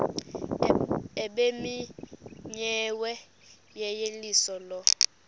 ebimenyiwe yeyeliso lo